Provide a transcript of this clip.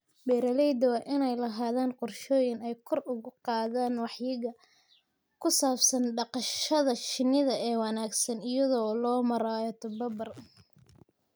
Beeralayda waa in ay lahaadaan qorshooyin ay kor ugu qaadaan wacyiga ku saabsan dhaqashada shinnida ee wanaagsan iyada oo loo marayo tababar.